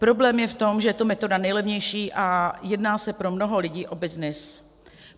Problém je v tom, že je to metoda nejlevnější a jedná se pro mnoho lidí o byznys.